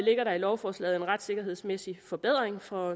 ligger der i lovforslaget en retssikkerhedsmæssig forbedring for